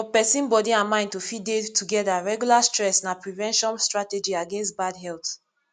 for person body and mind to fit dey together regular stress na prevention strategy against bad health